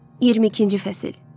22-ci fəsil.